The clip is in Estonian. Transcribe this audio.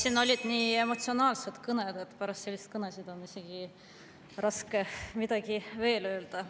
Siin olid nii emotsionaalsed kõned, et pärast selliseid kõnesid on isegi raske midagi veel öelda.